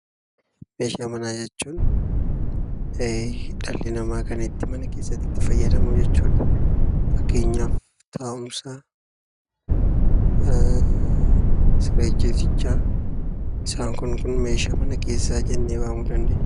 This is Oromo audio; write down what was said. Meeshaa manaa jechuun dhalli namaa mana keessatti kan itti fayyadamu jechuudha. Fakkeenyaaf taa'umsa, siree ciisichaa, isaan kun kun meeshaa mana keessaa jennee waamuu dandeenya.